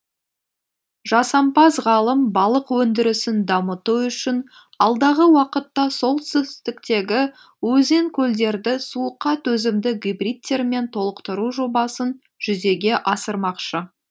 жасампаз ғалым балық өндірісін дамыту үшін алдағы уақытта солтүстіктегі өзен көлдерді суыққа төзімді гибридтермен толықтыру жобасын жүзеге асырмақшы